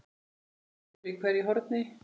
skellur í hverju horni.